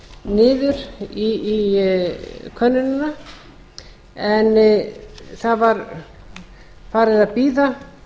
niður í könnunina en það var farið að bíða